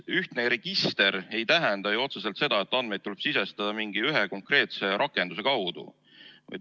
Ühtne register ei tähenda ju otseselt seda, et andmeid tuleb sisestada mingi ühe konkreetse rakenduse kaudu.